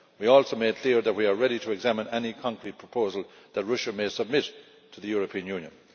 We also made clear that we are ready to examine any concrete proposal that Russian may submit to the European Union.